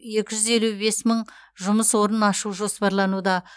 екі жүз елу бес мың жұмыс орнын ашу жоспарлануда